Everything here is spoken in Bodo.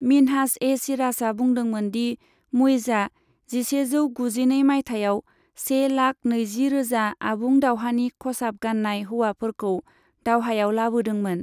मिन्हाज ए सिराजआ बुंदोंमोन दि मुइजआ जिसेजौ गुजिनै माइथायाव से लाख नैजि रोजा आबुं दावहानि खसाब गान्नाय हौवाफोरखौ दावहायाव लाबोदोंमोन।